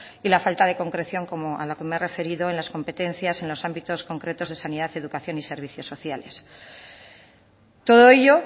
y la falta de concreción a la que me he referido en las competencias en los ámbitos concretos de sanidad educación y servicios sociales todo ello